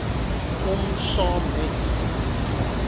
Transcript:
om saam met